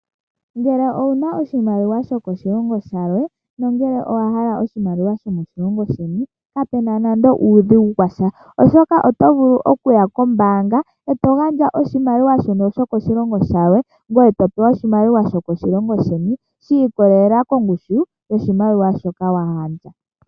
Ngele owuna oshimaliwa shoko shilongo shilwe ndele owa hala oshimaliwa shomo shilongo sheni kapena nando uudhigu washa, oshoka oto vulu okuya kombaanga eto gandja oshimaliwa shoka shoko shilongo shilwe ngoye to pewa oshimaliwa shomo shilongo sheni shi ikololela kongushu yoshimaliwa shoka wa gandja.